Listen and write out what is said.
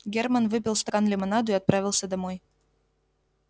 германн выпил стакан лимонаду и отправился домой